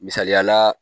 Misaliyala